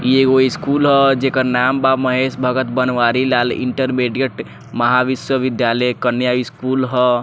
इ एगो स्कूल ह जेकर नाम बा महेश भगत बनवारी लाल इंटरमीडिएट महा विश्वविद्यालय कन्या स्कूल ह।